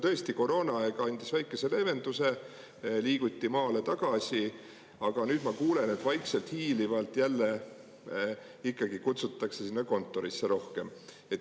Tõesti, koroonaaeg andis väikese leevenduse, liiguti maale tagasi, aga nüüd ma kuulen, et vaikselt, hiilivalt jälle ikkagi kutsutakse sinna kontorisse rohkem.